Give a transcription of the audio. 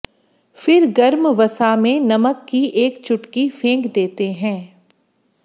फिर गर्म वसा में नमक की एक चुटकी फेंक देते हैं